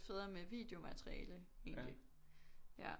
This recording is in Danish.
Federe med videomateriale egentlig ja